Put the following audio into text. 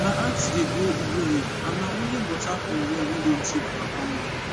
my aunti dey grow ugu leaf and nah only water from well wey don tey for her family